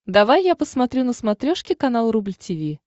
давай я посмотрю на смотрешке канал рубль ти ви